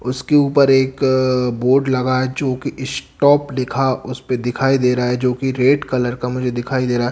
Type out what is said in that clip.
उसके ऊपर एक बोर्ड लगा है जो कि स्टॉप लिखा उस पे दिखाई दे रहा है जो कि रेड कलर का मुझे दिखाई दे रहा है।